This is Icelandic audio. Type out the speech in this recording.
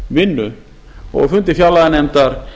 greiningarvinnu á fundi fjárlaganefndar